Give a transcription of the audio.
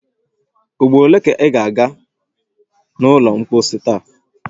Ugboro ole ka ị ga a ga n’ụlọ mposi taa?